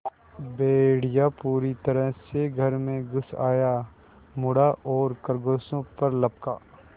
भेड़िया पूरी तरह से घर में घुस आया मुड़ा और खरगोशों पर लपका